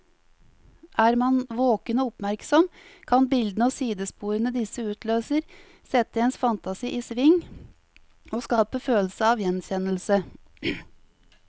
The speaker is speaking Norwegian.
Er man våken og oppmerksom, kan bildene og sidesporene disse utløser, sette ens fantasi i sving og skape følelse av gjenkjennelse.